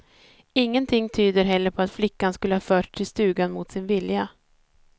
Ingenting tyder heller på att flickan skulle ha förts till stugan mot sin vilja.